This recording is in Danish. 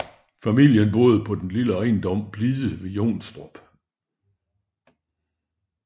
Familien boede på den lille ejendom Blide ved Jonstrup